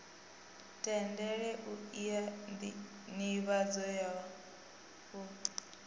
tendele u ea nivhadzo u